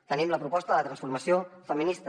tenim la proposta de la transformació feminista